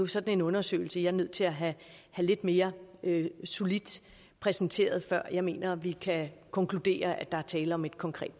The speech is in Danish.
sådan en undersøgelse jeg er nødt til at have lidt mere solidt præsenteret før jeg mener vi kan konkludere at der er tale om et konkret